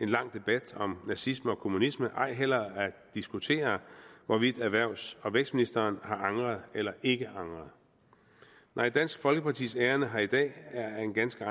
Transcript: en lang debat om nazisme og kommunisme ej heller at diskutere hvorvidt erhvervs og vækstministeren har angret eller ikke angret nej dansk folkepartis ærinde her i dag er af en ganske